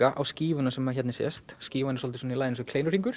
á skífuna sem hérna sést skífan er svolítið í laginu eins og